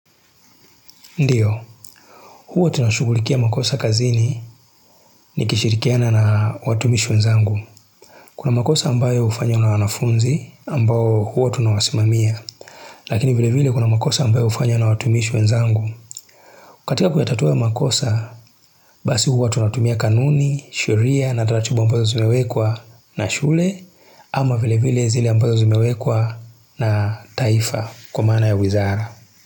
Ndiyo, huwa tunashughulikia makosa kazini nikishirikiana na watumishi wenzangu. Kwa makosa ambayo hufanywa na wanafunzi ambao huwa tunawasimamia. Lakini vile vile kuna makosa ambayo hufanywa na watumishi wenzangu. Katika kuyatatua makosa, basi huwa tunatumia kanuni, sheria na taratibu ambazo zimewekwa na shule, ama vile vile zile ambazo zimewekwa na taifa kwa maana ya wizara.